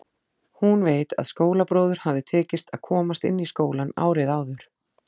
Hún veit að skólabróður hafði tekist að komast inn í skólann árið áður.